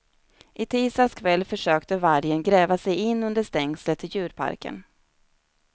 I tisdags kväll försökte vargen gräva sig in under stängslet till djurparken.